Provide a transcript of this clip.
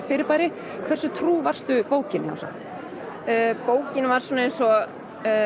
fyrirbæri hversu trú varstu bókinni Ása bókin var svona eins og